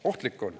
Ohtlik on.